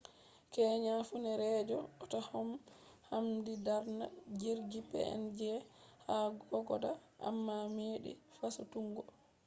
keya funeereejo ota man habdi darna jirgi png cg4684 ha kokoda amma meɗi fasutuggo